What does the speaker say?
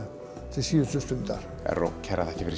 til síðustu stundar Erró kærar þakkir fyrir